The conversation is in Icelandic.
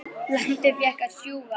Lambið fékk að sjúga.